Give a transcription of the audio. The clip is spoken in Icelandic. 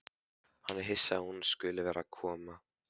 Hann er hissa að hún skuli vera að koma.